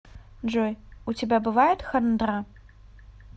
джой у тебя бывает хандра